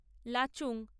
Lachung